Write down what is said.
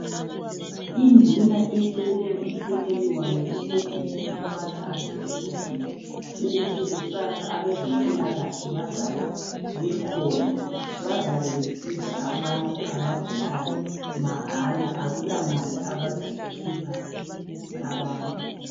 Induna icele umsekeli wayo usebhuku ukubana atshele uzulu ukuthi kusasa abeze mpilakahle bazabe bekhona bazabe besiza abantu abagulayo mahala akula mali abazayikhipha abantu.